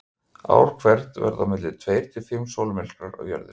Ár hvert verða á milli tveir til fimm sólmyrkvar á Jörðinni.